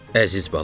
Əziz balam.